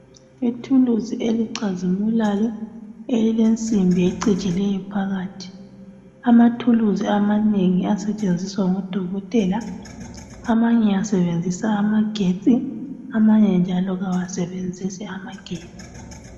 Ithulisi elicazimulayo, elilensimbi ecijileyo phakathi. Amathulusi amanengi asetshenziswa ngodokotela , amanye asebenzisa amagetsi, amanye njalo kawasebenzisi amagetsi.